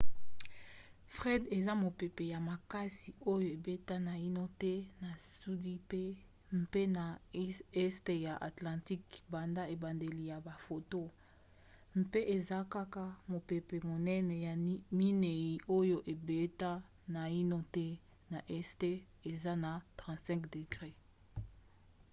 fred eza mopepe ya makasi oyo ebeta naino te na sud mpe na este ya atlantique banda ebandeli ya bafoto mpe eza kaka mopepe monene ya minei oyo ebeta naino te na este eza na 35°w